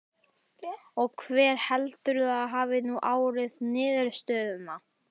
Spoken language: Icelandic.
Og hver heldurðu að hafi nú ráðið niðurstöðunni?